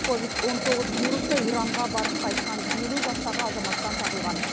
ковид он тоғыз вирусы иранға барып қайтқан елу жастағы азаматтан табылған